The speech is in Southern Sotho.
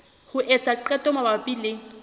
ho etsa qeto mabapi le